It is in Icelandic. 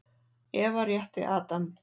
Eva rétti Adam.